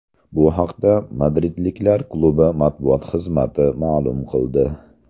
Bu haqda madridliklar klubi matbuot xizmati ma’lum qildi .